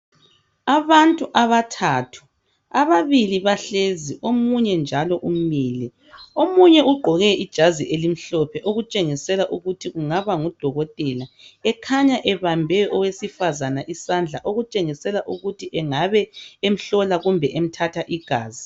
Abantu abathathu, ababili bahlezi ,omunye njalo umile. Omunye ugqoke ijazi elimhlophe okutshengisela ukuthi kungaba ngudokotela ekhanya ebambe owesifazane isandla okutshengisela ukuthi engabe emhlola kumbe emthatha igazi.